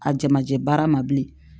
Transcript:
A jamajɛ baara ma bilen